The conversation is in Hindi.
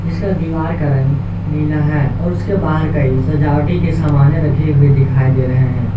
इसका दीवार का रंग नीला है और उसके बाहर कई सजावटी के सामाने रखे हुए दिखाई दे रहे हैं।